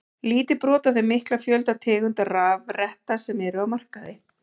Lítið brot af þeim mikla fjölda tegunda rafretta sem eru á markaði.